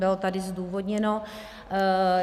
Bylo tady zdůvodněno.